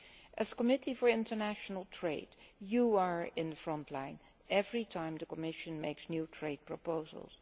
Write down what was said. The Committee for International Trade is in the front line every time the Commission makes new trade proposals.